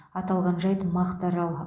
аталған жайт мақтаарал